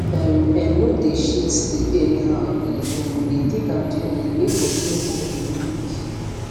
um en no dey shift sleep anyhow e um dey take am gently make body no go um weak